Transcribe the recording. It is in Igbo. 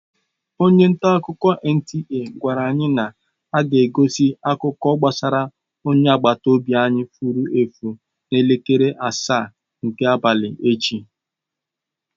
Onye ntaakụkọ NTA gwara anyị na aga-egosi akụkọ gbasara onye agbata obi anyị fụrụ efu n'elekere asaa nke abalị echi.